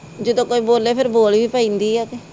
ਜਦੋ ਕੋਈ ਬੋਲੇ ਫਿਰ ਬੋਲ ਵੀ ਪੈਦੀ ਆ ਤੇ